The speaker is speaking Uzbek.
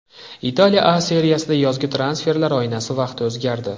Italiya A Seriyasida yozgi transferlar oynasi vaqti o‘zgardi.